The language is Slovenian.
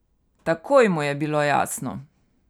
Takoj mu je bilo jasno.